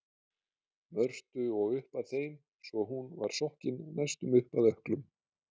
Mörtu og upp að þeim svo hún var sokkin næstum upp að ökklum.